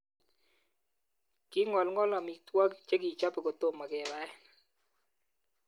Kingolngol amitwogik che kichobe kotome kebaen.